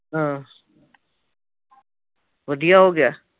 ਹਾਂ। ਵਧੀਆ ਹੋ ਗਿਆ